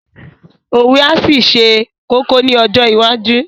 Òwe á ṣì ṣe kókó ní ọjọ́ iwájú